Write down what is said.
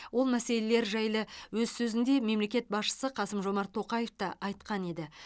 ол мәселелер жайлы өз сөзінде мемлекет басшысы қасым жомарт тоқаев та айтқан еді